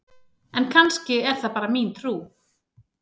En kannski er það bara mín trú!?